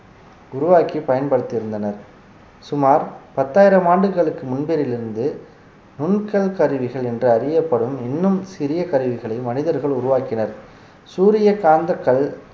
உருவாக்கி பயன்படுத்தி இருந்தனர் சுமார் பத்தாயிரம் ஆண்டுகளுக்கு முன்பிலிருந்து நுண்கல் கருவிகள் என்று அறியப்படும் இன்னும் சிறிய கருவிகளை மனிதர்கள் உருவாக்கினர் சூரிய காந்த கல்